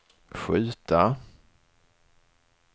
skjuta